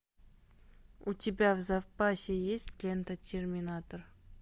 у тебя в запасе есть лента терминатор